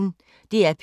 DR P1